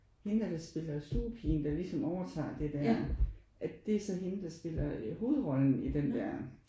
Hende der der spiller stuepigen der ligesom overtager det der at det er så hende der spiller hovedrollen i den der